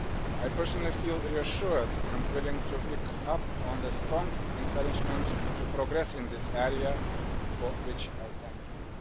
I personally feel reassured and willing to pick up on the strong encouragement to progress in this area, for which I thank you.